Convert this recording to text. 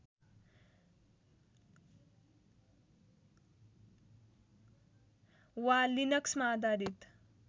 वा लिनक्समा आधारित